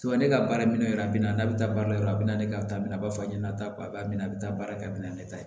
ne ka baara minɛ yɔrɔ a bɛ na n'a bɛ taa baara yɔrɔ a bɛ na ne bɛ taa minɛ a b'a fɔ a ɲɛna a t'a minɛ a bɛ taa baara kɛ a bɛ na ne ta ye